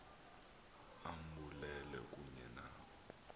ambulale kunye nabo